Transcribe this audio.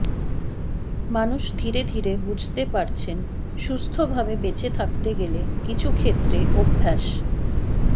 মানুষ ধীরে ধীরে বুঝতে পারছেন সুস্থভাবে বেঁচে থাকতে গেলে কিছু ক্ষেত্রে অভ্যাস